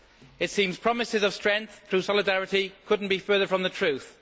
It seems promises of strength through solidarity could not be further from the truth.